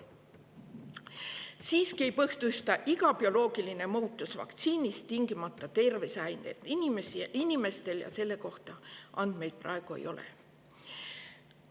Siiski ei põhjusta iga bioloogiline muutus vaktsiinis tingimata tervisehäireid inimestel ja selle kohta andmeid praegu ei ole.